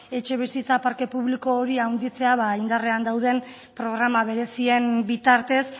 etxebizitza parke publiko hori handitzea indarrean dauden programa berezien bitartez